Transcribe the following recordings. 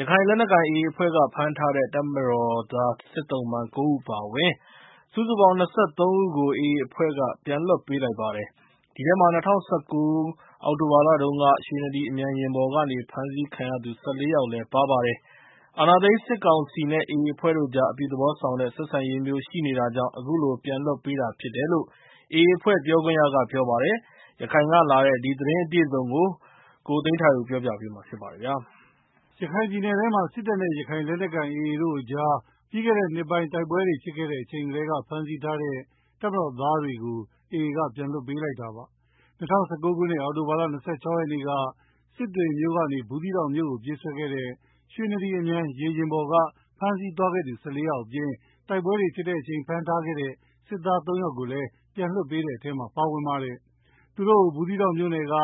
ရခိုင်လက်နက်ကိုင် AA အဖွဲ့က ဖမ်းထားခဲ့တဲ့ တပ်မတော်သား စစ်သုံ့ပန်း ၉ ဦးအပါအဝင် စုစုပေါင်း ၂၃ ဦးကို AA အဖွဲ့က ပြန်လွတ်ပေးလိုက်ပါတယ်။ အဲဒီထဲမှာ ၂၀၁၉ အောက်တိုဘာလတုန်းက ရွှေနဒီ အမြန်ယာဉ်ပေါ်ကနေ ဖမ်းဆီးခံရသူ ၁၄ ယောက်လည်း ပါပါတယ်။ အာဏာသိမ်းစစ်ကောင်စီနဲ့ AA အဖွဲ့တို့ကြား အပြုသဘောဆောင်တဲ့ ဆက်ဆံရေးမျိုးရှိနေတာကြောင့် အခုလို ပြန်လွှတ်ပေးတာဖြစ်တယ်လို့ AA အဖွဲ့ ပြောခွင့်ရက ပြောပါတယ်။ ရခိုင်ကလာတဲ့ ဒီသတင်းအပြည့်အစုံကို ကိုသိန်းထိုက်ဦးက ပြောပြပါမယ်။ ရခိုင်ပြည်နယ်ထဲမှာ စစ်တပ်နဲ့ ရခိုင်လက်နက်ကိုင် AA တို့ကြား ပြီးခဲ့တဲ့နှစ်ပိုင်း တိုက်ပွဲတွေဖြစ်ခဲ့ချိန်က ဖမ်းဆီးထားတဲ့ တပ်မတော်သားတွေကို AA က ပြန်လွှတ်ပေးလိုက်တာပါ။ ၂၀၁၉ ခုနှစ်၊ အောက်တိုဘာလ ၂၆ ရက်နေ့က စစ်တွေမြို့ကနေ ဘူးသီးတောင်မြို့ကို ပြေးဆွဲတဲ့ ရွှေနဒီ အမြန်ရေယာဉ်ပေါ်က ဖမ်းဆီးသွားသူ ၁၄ ယောက်အပြင် တိုက်ပွဲတွေဖြစ်စဉ် ဖမ်းမိထားတဲ့ စစ်သား ၃ ယောက်လည်း ပြန်လွှတ်ပေးတဲ့ထဲ ပါပါတယ်။ သူတို့ကို ဘူးသီးတောင်မြို့နယ်က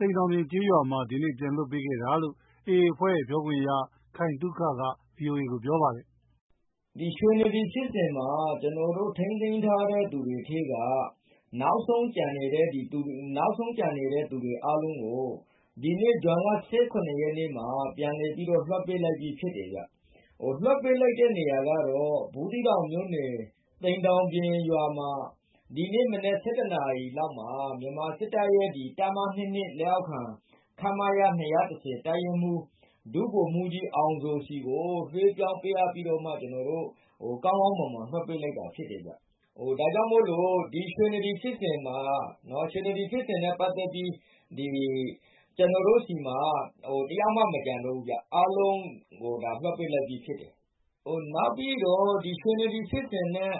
သိမ်တောင်ပြင်ကျေးရွာမှာ ဒီနေ့ ပြန်လွှတ်ပေးခဲ့တယ်လို့ AA အဖွဲ့ ပြောခွင့်ရ ခိုင်သုခက ဗွီအိုအေကို ပြောပါတယ်။ “ရွှေနဒီဖြစ်စဉ်မှာ ကျနော်တို့ ထိန်းသိမ်းထားသူတွေထဲက နောက်ဆုံးကျန်နေတဲ့သူတွေ အားလုံးကို ဒီနေ့ ဇွန်လ ၁၇ ရက်နေ့မှာ ပြန်လည်ပြီးတော့ လွှတ်ပေးလိုက်ပြီး ဖြစ်တယ်ဗျာ။ လွှတ်ပေးလိုက်တဲ့ နေရာကတော့ ဘူးသီးတောင်မြို့နယ် သိမ်တောင်ပြင်ရွာမှာ ဒီနေ့မနက် ၁၁ နာရီလောက်မှာ မြန်မာစစ်တပ်ရဲ့ တပ်မ ၂၂ လက်အောက်ခံ ခမရ ၂၁၀ တပ်ရင်းမှူး ဒုဗိုလ်မှူးကြီးအောင်ဇော်ဆီကို လွှဲပြောင်းပြီးတော့ ကောင်းကောင်းမွန်မွန် လွှတ်ပေးလိုက်တာဖြစ်တယ်ဗျာ။ ဒီရွှေနဒီဖြစ်စဉ်မှာ ကျနော်တို့ဆီမှာ တယောက်မှ မကျန်တော့ဘူးဗျာ အားလုံးကို လွှတ်ပေးလိုက်ပြီး ဖြစ်ပါတယ်။ နောက်ပြီးတော့ ရွှေနဒီဖြစ်စဉ်နဲ့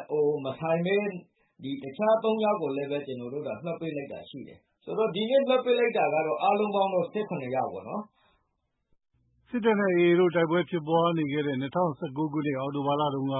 မဆိုင်ဘဲ တခြား သုံးယောက်ကိုလည်း ကျနော်တို့ လွှတ်ပေးလိုက်တာရှိတယ်။ ဆိုတော့ ဒီနေ့လွှတ်ပေးလိုက်တာက အားလုံး ၁၇ ယောက်ပေါ့နော်။” စစ်တပ်နဲ့ AA တို့ တိုက်ပွဲဖြစ်နေစဉ် ၂၀၁၉ ခုနှစ် အောက်တိုဘာလတုန်းက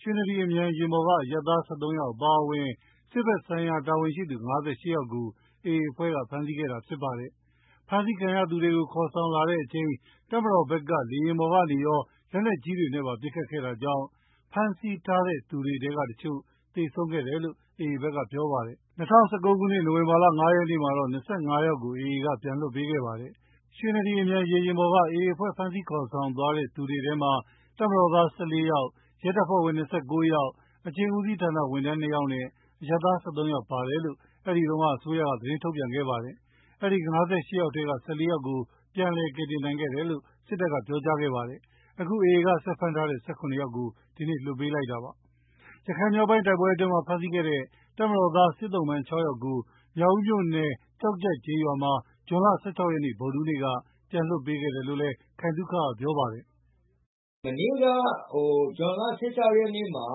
ရွှေနဒီ အမြန်ယာဉ်ပေါ်က အရပ်သား ၁၃ ဦးအပါအဝင် စစ်ဖက်ဆိုင်ရာ တာဝန်ရှိသူ ၅၈ ဦးကို AA အဖွဲ့က ဖမ်းဆီးခဲ့တာဖြစ်ပါတယ်။ ဖမ်းဆီးခံရသူတွေကို ခေါ်ဆောင်လာစဉ် တပ်မတော်ဘက်က လေယာဉ်ပေါ်ကနေရော လက်နက်ကြီးတွေနဲ့ပါ ပစ်ခတ်ခဲ့တာကြောင့် ဖမ်းဆီးထားသူတွေထဲကတချို့ သေဆုံးခဲ့တယ်လို့ AA ဘက်က ပြောပါတယ်။ ၂၀၁၉ ခုနှစ် နိုဝင်ဘာလ ၅ ရက်နေ့မှာတော့ ၂၅ ယောက်ကို AA က ပြန်လွှတ်ပေးခဲ့ပါတယ်။ ရွှေနဒီအမြန်ရေယာဉ်ပေါ်က AA အဖွဲ့ ဖမ်းဆီးခေါ်ဆောင်ခဲ့သူတွေထဲမှာ တပ်မတော်သား ၁၄ ယောက်၊ ရဲတပ်ဖွဲ့ဝင် ၂၉ ယောက်၊ အကျဉ်းဦးစီးဌာန ဝန်ထမ်း ၂ ယောက်နဲ့ အရပ်သား ၁၃ ယောက်ပါတယ်လို့ အဲဒီတုန်းက အစိုးရက သတင်းထုတ်ပြန်ခဲ့ပါတယ်။ အဲဒီ ၅၈ ယောက်ထဲက ၁၄ ယောက်ကို ပြန်လည်ကယ်တင်နိုင်ခဲ့တယ်လို့ စစ်တပ်က ပြောကြားခဲ့ပါတယ်။ အခုတော့ AA ကဆက်ဖမ်းထားတဲ့ ၁၇ ယောက်ကို ဒီနေ့ လွှတ်ပေးလိုက်တာပါ။ ရခိုင်မြောက်ပိုင်း တိုက်ပွဲအတွင်း ဖမ်းဆီးခဲ့တဲ့ တပ်မတော်သား စစ်သုံ့ပန်း ၆ ဦးကို မြောက်ဦးမြို့နယ် ကျောက်ကျပ်ကျေးရွာမှာ ဇွန်လ ၁၆ ရက် ဗုဒ္ဓဟူးနေ့က ပြန်လွှတ်ပေးခဲ့တဲ့အကြောင်း ခိုင်သုခက ပြောပါတယ်။ “မနေ့က ဇွန်လ ၁၆ ရက်နေ့မှာ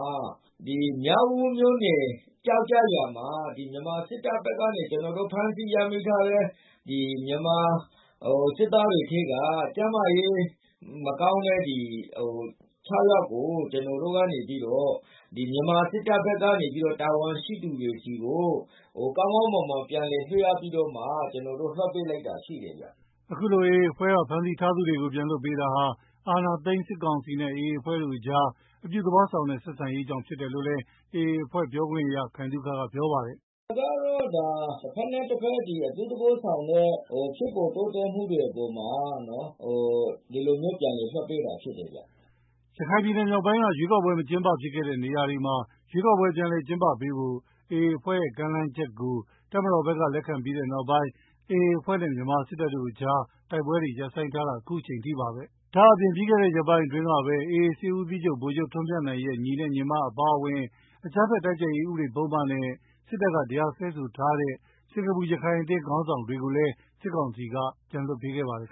မြောက်ဦးမြို့နယ် ကျောက်ကျပ်ရွာမှာ မြန်မာ စစ်တပ်ဘက်ကနေ ကျနော်တို့ ဖမ်းဆီးရမိထားတဲ့ မြန်မာစစ်သားတွေထဲက ကျန်းမာရေးမကောင်းတဲ့ ၆ ယောက်ကို ကျနော်တို့က နေပြီးတော့ မြန်မာစစ်တပ်ဘက်က တာဝန်ရှိသူတွေဆီကို ကောင်းကောင်းမွန်မွန် ပြန်လည် လွှဲပြောင်းပေးလိုက်တာ ရှိတယ်ဗျာ။” အခုလို AA အဖွဲ့က ဖမ်းဆီးထားသူတွေကို ပြန်လွှတ်ပေးရတာဟာ အာဏာသိမ်း စစ်ကောင်စီနဲ့ AA အဖွဲ့တို့ကြား အပြုသဘောဆောင်တဲ့ ဆက်ဆံရေးကြောင့် ဖြစ်တယ် လို့လည်း AAအဖွဲ့ ပြောခွင့်ရ ခိုင်သုခက ပြောပါတယ်။ “ဒါကတော့ တဘက်နဲ့တဘက် အပြုသဘောဆောင်တဲ့ ဖြစ်ပေါ်တိုးတက်မှုတွေအပေါ်မှာ ဒီလိုမျိုးပြန်လည်လွှတ်ပေးတာဖြစ်တယ်ဗျာ။” ရခိုင်ပြည်နယ်မြောက်ပိုင်းက ရွေးကောက်ပွဲ မကျင်းပဖြစ်ခဲ့တဲ့နေရာတွေမှာ ရွေးကောက်ပွဲ ပြန်လည်ကျင်းပပေးဖို့ AA အဖွဲ့ရဲ့ ကမ်းလှမ်းချက်ကို တပ်မတော်ဘက်က လက်ခံပြီးတဲ့နောက် ပိုင်း AAအဖွဲ့နဲ့ တပ်တို့ကြား တိုက်ပွဲတွေ ရပ်ဆိုင်းထားတာ အခုအချိန်ထိပါပဲ။ ဒါအပြင့် ပြီးခဲ့တဲ့ရက်ပိုင်းကပဲ AA စစ်ဦးစီချုပ် ဗိုလ်ချုပ်ထွန်းမြတ်နိုင်ရဲ့ ညီနဲ့ ညီမတို့အပါအဝင် အကြမ်းဖက်တိုက်ဖျက်ရေး ဥပဒေပုဒ်မတွေနဲ့ စစ်တပ်က တရားစွဲထားတဲ့ စင်္ကာပူ ရခိုင်အသင်း ခေါင်းဆောင်တွေကိုလည်း စစ်ကောင်စီက ပြန်လွှတ်ပေးခဲ့ပါတယ်